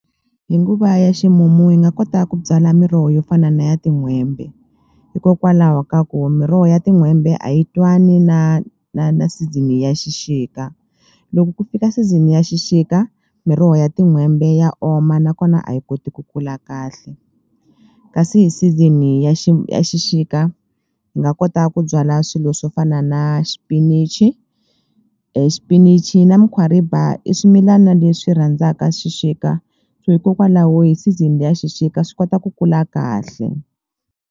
Hi nguva ya ximumu hi nga kota ku byala miroho yo fana na ya tin'hwembe hikokwalaho ka ku miroho ya tin'hwembe a yi twani na na na season ya xixika loko ku fika season ya xixika miroho ya tin'hwembe ya oma nakona a yi koti ku kula kahle kasi hi season ya ya xixika hi nga kota ku byala swilo swo fana na xipinichi xipinichi na mukhwariba i swimilana leswi rhandzaka xixika so hikokwalaho hi season le ya xixika swi kota ku kula kahle.